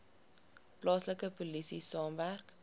plaaslike polisie saamwerk